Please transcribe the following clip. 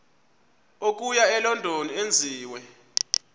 okuya elondon enziwe